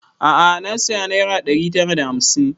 A'a na saya naira ɗari tara da hamsin